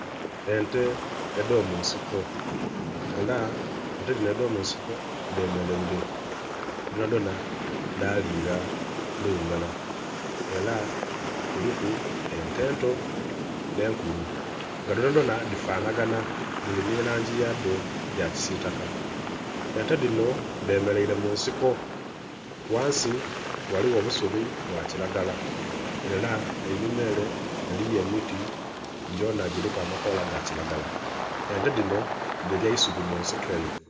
Ente edhomunsiko era ente dhino dh'omunsiko dhemeleire dhona dhona dhalinga luuyi lulara era kuliku ente ento ne nkulu nga dhona dhona dhifanagana dhiri ni langi yadho ya kisitaka ente dhino dhemeleire mu nsiko ghansi ghaliwo obusubi bwa kilagara era enhuma ere eliyo emiti gyona gyiliku amakoola gakilagara ente dhino dhilya eisubi mu nsiko eyo.